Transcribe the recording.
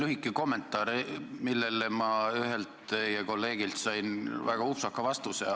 Lühike kommentaar, millele ma ühelt teie kolleegilt sain väga upsaka vastuse.